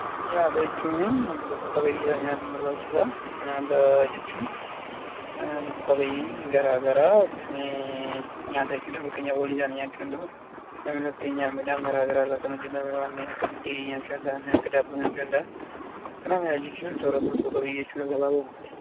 Nyaata jechuun lubbuu qabeeyyiidhaaf nyaatni in barbaachisa. Nyaata jechuun lubbu-qabeeyyiin garaagaraa Kan nyaatan jechuudha. Fakkeenyaaf walii isaanii nyaachuu danda'u, namni fakkeenyaaf midhaan garaagaraa irra Kan hojjetame warreen akka buddeenii nyaachuu danda'a, wanneen akka daabboo nyaachuu danda'a. Nyaata jechuun soorata lubbu-qabeeyyii jechuudha gabaabumattu